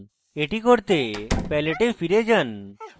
এটি করতে palette এ ফেরৎ যান